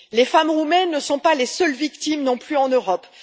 Les femmes roumaines ne sont pas les seules victimes non plus en Europe.